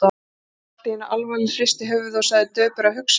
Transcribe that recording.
Milla allt í einu alvarleg, hristi höfuðið og sagði döpur: Að hugsa sér.